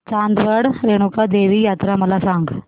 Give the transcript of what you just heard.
चांदवड रेणुका देवी यात्रा मला सांग